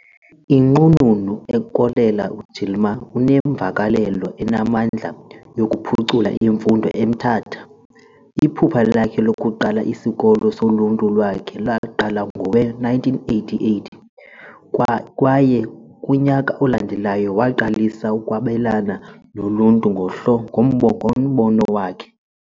Inqununu uKoleka Gilman unemvakalelo enamandla yokuphucula imfundo eMthatha. Iphupha lakhe lokuqala isikolo soluntu lwakhe laqala ngowe-1988, kwaye kunyaka olandelayo, waqalisa ukwabelana noluntu ngombono wakhe.